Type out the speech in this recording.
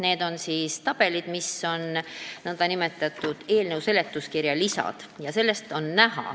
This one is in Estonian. Need on nn eelnõu seletuskirja lisad.